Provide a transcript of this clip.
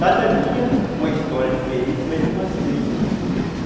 Cada dia uma história diferente, mas umas três eu ainda me lembro.